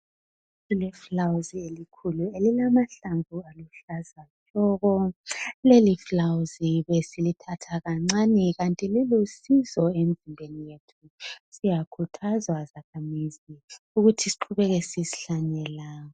Kulefuwazi elikhulu elilamahlamvu aluhlaza tshoko. Leli fulawuzi besilithatha kancane kanti lilusizo empilweni yethu. Siyakhuthazwa zakhamizi ukuthi siqhubeke sisihlanyela.